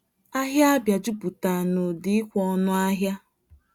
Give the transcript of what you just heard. Ahịa Abia jupụtara n'ụda ikwe ọnụ ahịa.